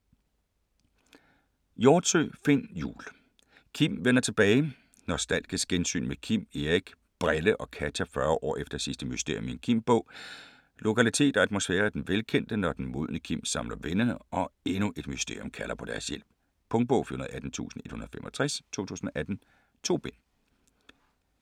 Hjortsøe, Finn Jul: Kim vender tilbage Nostalgisk gensyn med Kim, Erik, "Brille" og Katja 40 år efter sidste mysterium i en Kim-bog. Lokalitet og atmosfære er den velkendte, når den modne Kim samler vennerne, og endnu et mysterium kalder på deres hjælp. Punktbog 418165 2018. 2 bind.